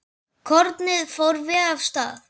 Kornið fór vel af stað.